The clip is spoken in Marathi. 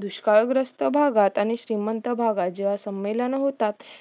दुष्काळ ग्रस्त भागात आणि श्रीमंत भागात जेव्हा संमेलन होतात